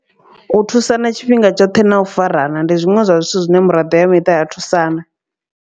U thusana tshifhinga tshoṱhe na u farana ndi zwiṅwe zwa zwithu zwine miraḓo ya miṱa ya thusana.